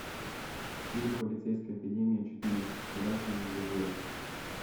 фильм полицейская академия четыре граждане в дозоре